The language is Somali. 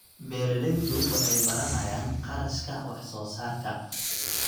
Beeraleydu waxay baranayaan kharashka wax soo saarka.